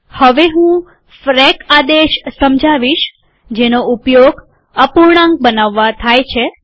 હવે હું ફ્રેક આદેશ સમજાવીશ જેનો ઉપયોગ અપૂર્ણાંક બનાવવા થાય છે